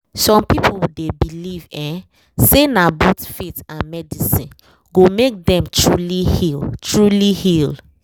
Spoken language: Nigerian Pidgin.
some people dey believe um say na both faith and medicine go make dem truly heal truly heal